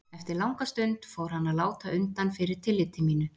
Eftir langa stund fór hann að láta undan fyrir tilliti mínu.